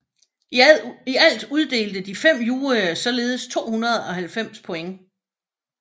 I alt uddelte de fem juryer således 290 point